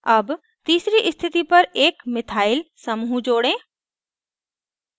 add तीसरी स्थिति पर एक methyl समूह जोड़ें